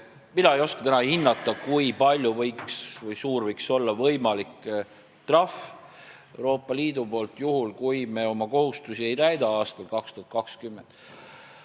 Mina ei oska täna hinnata, kui suur võiks olla Euroopa Liidu võimalik trahv, juhul kui me aastal 2020 oma kohustusi ei täida.